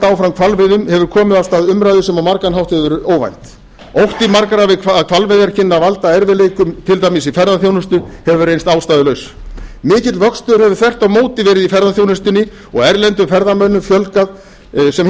áfram hvalveiðum hefur komið af stað umræðu sem á margan hátt hefur verið óvænt ótti margra við hvalveiðar kynni að valda erfiðleikum til dæmis í ferðaþjónustu hefur reynst ástæðulaus mikill vöxtur hefur þvert á móti verið í ferðaþjónustunni og erlendum ferðamönnum fjölgað sem